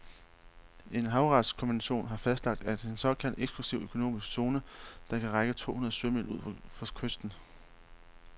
En havretskonvention har fastlagt en såkaldt eksklusiv økonomisk zone, der kan række to hundrede sømil ud fra kysten.